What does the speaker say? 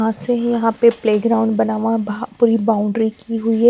हां से यहाँ पे प्ले ग्राउंड बना हुआ है भ पूरी बाउंड्री की हुई है।